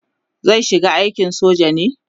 zai shiga aikin soja ne?